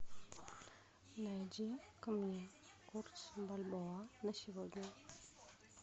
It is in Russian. найди ка мне курс бальбоа на сегодня